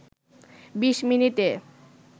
২০ মিনিটে